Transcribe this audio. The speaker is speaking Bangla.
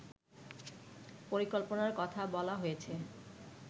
পরিকল্পনার কথা বলা হয়েছে